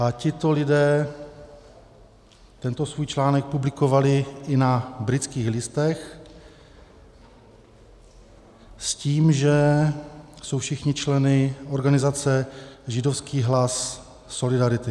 A tito lidé tento svůj článek publikovali i na Britských listech s tím, že jsou všichni členy organizace Židovský hlas solidarity.